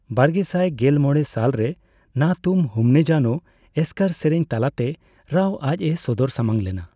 ᱵᱟᱨᱜᱮᱥᱟᱭ ᱜᱮᱞ ᱢᱚᱲᱮ ᱥᱟᱞ ᱨᱮ ᱱᱟ ᱛᱩᱢ ᱦᱩᱢᱱᱮ ᱡᱟᱱᱳ ᱮᱥᱠᱟᱨ ᱥᱮᱨᱮᱧ ᱛᱟᱞᱟᱛᱮ ᱨᱟᱣ ᱟᱡ ᱮ ᱥᱚᱫᱚᱨ ᱥᱟᱢᱟᱝ ᱞᱮᱱᱟ ᱾